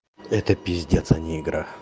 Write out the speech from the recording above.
это пиздец а не игра